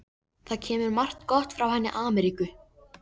Það kemur margt gott frá henni Ameríku.